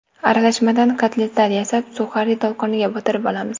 Aralashmadan kotletlar yasab, suxari tolqoniga botirib olamiz.